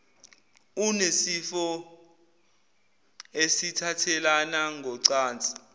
unesifo esithathelana ngocansi